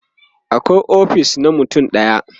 akwai ofis na mutum ɗaya